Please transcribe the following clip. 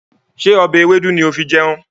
Ṣé ọbẹ̀ ewédú ni ó fi jẹun?